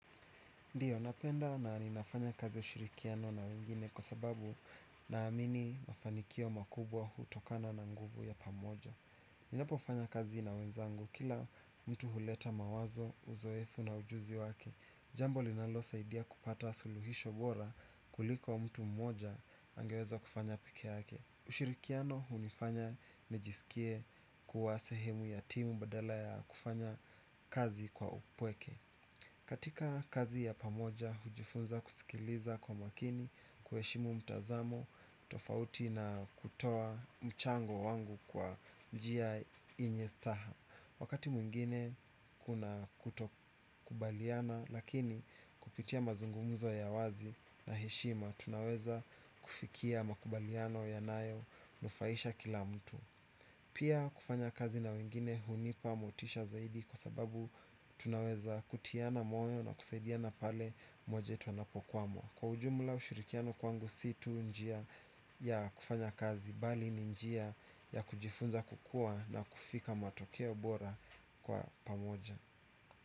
Ndio napenda na ninafanya kazi ya ushirikiano na wengine kwa sababu naamini mafanikio makubwa hutokana na nguvu ya pamoja. Ninapofanya kazi na wenzangu kila mtu huleta mawazo, uzoefu na ujuzi wake. Jambo linalosaidia kupata suluhisho bora kuliko wa mtu mmoja angeweza kufanya pekee yake. Ushirikiano hunifanya nijisikie kuwa sehemu ya timu badala ya kufanya kazi kwa upweke. Katika kazi ya pamoja, hujifunza kusikiliza kwa makini, kuheshimu mtazamo, tofauti na kutoa mchango wangu kwa njia yenye staha. Wakati mwingine kuna kutokubaliana, lakini kupitia mazungumzo ya wazi na heshima, tunaweza kufikia makubaliano yanayo nufaisha kila mtu. Pia kufanya kazi na wengine hunipa motisha zaidi kwa sababu tunaweza kutiana moyo na kusaidiana pale mmoja wetu wanapokwama. Kwa ujumla ushirikiano kwangu si tu njia ya kufanya kazi bali ni njia ya kujifunza kukuwa na kufika matokeo bora kwa pamoja.